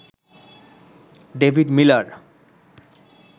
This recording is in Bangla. David Miller